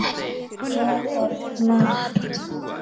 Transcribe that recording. Hvar er Mata?